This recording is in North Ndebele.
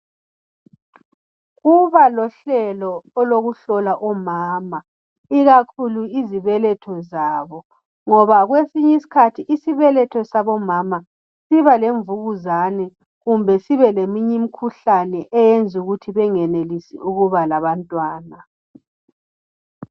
kuba lohlelo olokuhlola omama ikakhulu izibeletho zabo ngoba kwesinye isikhathi isibeletho sabo siba lemvukuzane kumbe sibeleminye imkhuhlane eyenza ukuthi bengenelisi ukuba labantwana